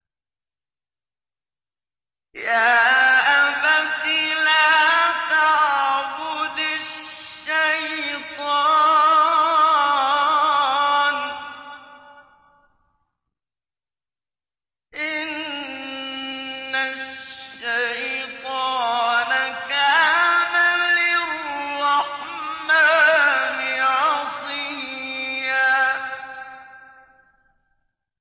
يَا أَبَتِ لَا تَعْبُدِ الشَّيْطَانَ ۖ إِنَّ الشَّيْطَانَ كَانَ لِلرَّحْمَٰنِ عَصِيًّا